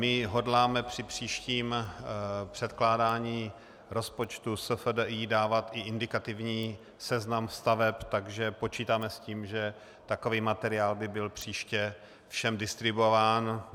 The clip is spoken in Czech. My hodláme při příštím předkládání rozpočtu SFDI dávat i indikativní seznam staveb, takže počítáme s tím, že takový materiál by byl příště všem distribuován.